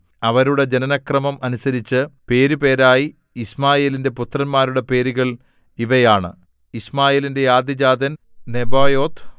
അവരുടെ ജനനക്രമം അനുസരിച്ച് പേരുപേരായി യിശ്മായേലിന്റെ പുത്രന്മാരുടെ പേരുകൾ ഇവയാണ് യിശ്മായേലിന്റെ ആദ്യജാതൻ നെബായോത്ത്